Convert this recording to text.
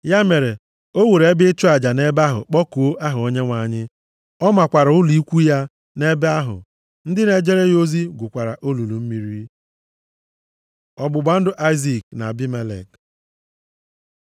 Ya mere, o wuru ebe ịchụ aja nʼebe ahụ kpọkuo aha Onyenwe anyị. Ọ makwara ụlọ ikwu ya nʼebe ahụ. Ndị na-ejere ya ozi gwukwara olulu mmiri. Ọgbụgba ndụ Aịzik na Abimelek